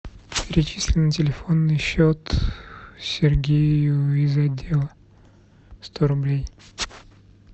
перечисли на телефонный счет сергею из отдела сто рублей